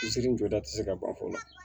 Seri jɔda ti se ka ban fɔlɔ